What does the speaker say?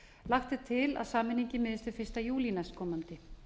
lagt er til að sameiningin miðist við ellefta júlí næstkomandi